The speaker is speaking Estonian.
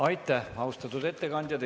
Aitäh, austatud ettekandja!